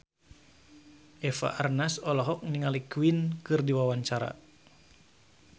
Eva Arnaz olohok ningali Queen keur diwawancara